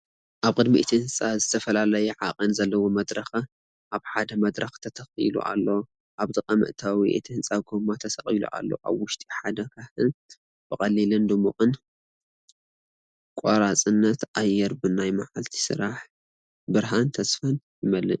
ኣብ ቅድሚ እቲ ህንጻ ዝተፈላለየ ዓቐን ዘለዎ መድረኽ ኣብ ሓደ መድረኽ ተተኺሉ ኣሎ። ኣብ ጥቓ መእተዊ እቲ ህንፃ ጎማ ተሰቒሉ ኣሎ፤ ኣብ ውሽጢ ሓደ ካህን ብቐሊልን ድሙቕን ቆራጽነት፣ ኣየር ብናይ መዓልቲ ስራሕን ብርሃን ተስፋን ይመልእ።